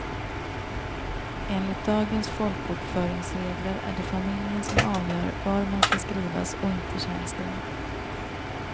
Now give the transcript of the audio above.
Enligt dagens folkbokföringsregler är det familjen som avgör var man ska skrivas och inte tjänsten.